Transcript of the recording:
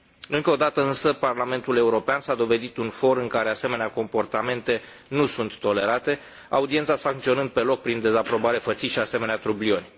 Încă o dată, însă, Parlamentul European s a dovedit un for în care asemenea comportamente nu sunt tolerate, audiența sancționând pe loc prin dezaprobare fățișă asemenea trublioni.